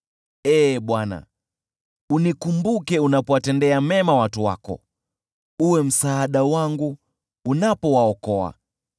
Ee Bwana , unikumbuke unapowatendea mema watu wako, uwe msaada wangu unapowaokoa,